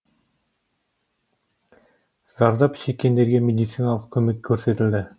зардап шеккендерге медициналық көмек көрсетілді